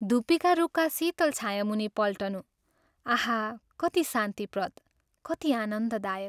धूपीका रूखका शीतल छायामुनि पल्टनु : आहा कति शान्तिप्रद, कति आनन्ददायक।